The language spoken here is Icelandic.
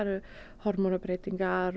hormónabreytingar